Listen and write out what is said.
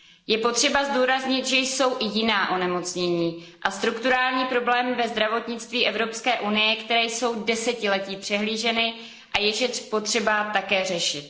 Je potřeba zdůraznit, že jsou i jiná onemocnění a jiné strukturální problémy ve zdravotnictví Evropské unie, které jsou desetiletí přehlíženy a jež je potřeba také řešit.